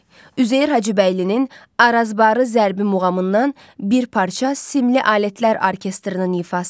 Üzeyir Hacıbəylinin Arazbarı zərbi muğamından bir parça simli alətlər orkestrinin ifasında.